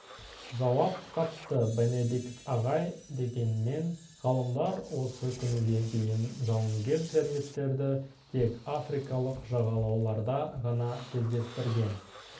жауап қатты бенедикт ағай дегенмен ғалымдар осы күнге дейін жауынгер термиттерді тек африкалық жағалауларда ғана кездестірген